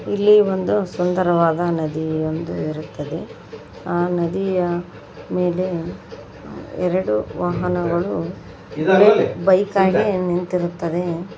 ಇಲ್ಲಿ ಒಂದು ಸುಂದರವಾದ ನದಿಯೊಂದು ಇರುತ್ತದೆ ಆ ನದಿಯ ಮೇಲೆ ಎರಡು ವಾಹನಗಳು ಬೈಕ್ ಆಗಿ ನಿಂತಿರುತ್ತವೆ.